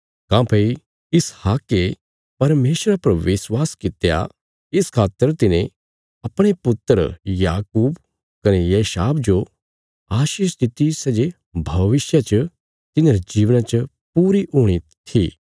काँह्भई इसहाके परमेशरा पर विश्वास कित्या इस खातर तिने अपणे पुत्र याकूब कने एसाव जो आशीष दित्ति सै जे भविष्य च तिन्हांरे जीवना च पूरी हूणी थी